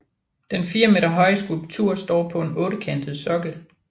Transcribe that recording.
Den fire meter høje skulptur står på en ottekantet sokkel